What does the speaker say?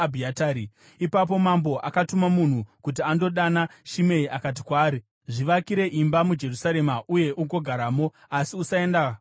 Ipapo mambo akatuma munhu kuti andodana Shimei akati kwaari, “Zvivakire imba muJerusarema uye ugogaramo, asi usaenda kumwe kunhu.